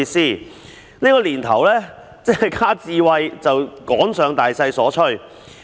在這個年頭，一旦加上"智慧"二字，就是趕上大趨勢。